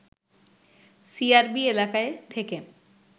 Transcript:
CRB এলাকায় থেকে